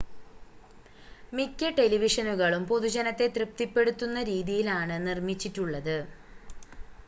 മിക്ക ടെലിവിഷനുകളും പൊതുജനത്തെ തൃപ്തിപ്പെടുത്തുന്ന രീതിയിലാണ് നിർമ്മിച്ചിട്ടുള്ളത്